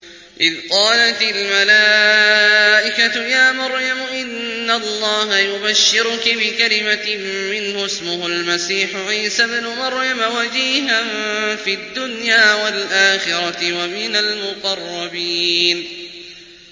إِذْ قَالَتِ الْمَلَائِكَةُ يَا مَرْيَمُ إِنَّ اللَّهَ يُبَشِّرُكِ بِكَلِمَةٍ مِّنْهُ اسْمُهُ الْمَسِيحُ عِيسَى ابْنُ مَرْيَمَ وَجِيهًا فِي الدُّنْيَا وَالْآخِرَةِ وَمِنَ الْمُقَرَّبِينَ